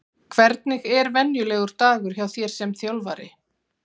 Hvernig er venjulegur dagur hjá þér sem þjálfari?